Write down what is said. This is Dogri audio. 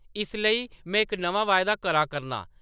"इस लेई, में इक नमां वायदा करा करनां ।